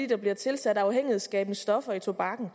der bliver tilsat afhængighedsskabende stoffer i tobakken